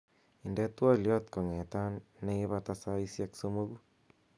inde twolyot kong'etan neipata saisiek somogu